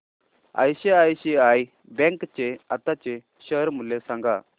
ICICI bank चे आताचे share मूल्य सांगा